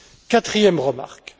Quatrième remarque.